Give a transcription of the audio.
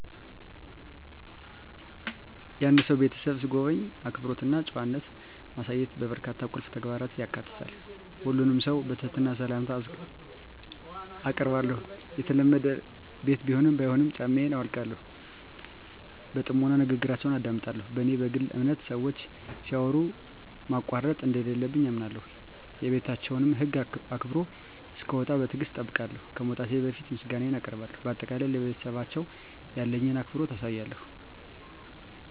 የአንድን ሰው ቤት ስጎበኝ፣ አክብሮት እና ጨዋነት ማሳየት በርካታ ቁልፍ ተግባራትን ያካትታል። ሁሉንም ሰው በትህትና ሰላምታ አአቀርባለሁ፣ የተለመደ ቤት ቢሆንም ባይሆንም ጫማየን አውልቃለሁ። በጥሞና ንግግራችውን አደምጣለሁ፣ በኔ በግል አምነት ሰወች ሲያወሩ ማቋረጥ እንደለለብኝ አምነለሁ። የቤታቸውን ህግ አክብሮ እሰክወጣ በትግሰት እጠብቃለሁ፣ ከመውጣቴ በፈት ምሰጋነየን አቀርባለሁ በአጠቃላይ፣ ለቤተሰባቸው ያለኝን አክብሮት አሳያለሁ።